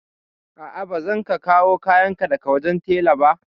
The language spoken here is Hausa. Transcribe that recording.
A'a, ba zan ka kawo kayan ka daga wajen tela ba.